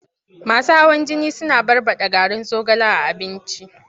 Masu hawan jini suna barɓaɗa garin zogale a abinci.